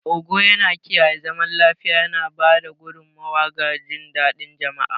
Ogo yana kiyaye zaman lafiya, yana ba da gudummawa ga jin daɗin jama'a.